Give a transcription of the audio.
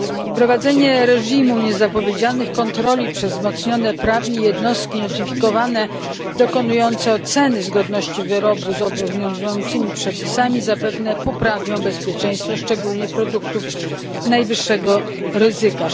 Wprowadzenie reżimu niezapowiedzianych kontroli przez wzmocnione prawnie jednostki notyfikowane, dokonujące oceny zgodności wyrobu z obowiązującymi przepisami, zapewne poprawią bezpieczeństwo szczególnie produktów najwyższego ryzyka.